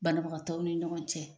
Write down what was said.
Banabagatɔw ni ɲɔgɔn cɛ